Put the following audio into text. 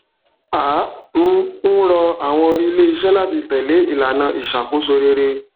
à um ń rọ àwọn iléiṣẹ láti tẹlé ìlànà ìṣàkóso rere